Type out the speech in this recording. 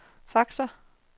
faxer